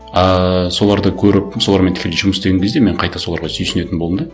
ыыы соларды көріп солармен тікелей жұмыс істеген кезде мен қайта соларға сүйсінетін болдым да